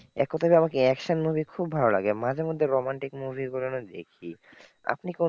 এক কোথায় তো আমাকে action movie খুব ভালো লাগে, মাঝেমধ্যে romantic movie গুলোও দেখি। আপনি কোন,